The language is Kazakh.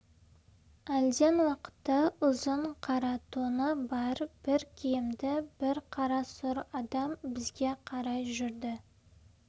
әлден уақытта ұзын қара тоны бар кір киімді бір қара сұр адам бізге қарай жүрді